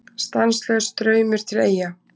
Stanslaus straumur til Eyja